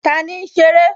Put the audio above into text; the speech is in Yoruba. Tani ń ṣeré?